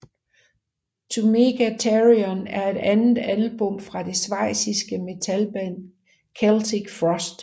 To Mega Therion er det andet album fra det schweiziske metalband Celtic Frost